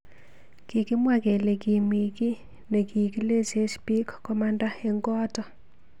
Kikimwa kele kimi ki nekikilech bik komanda eng koatak.